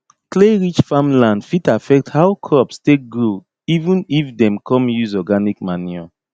clayrich farmland fit affect how crops take grow even if dem come use organic manure